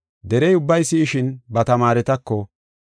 Derey ubbay si7ishin ba tamaaretako,